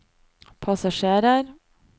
passasjerer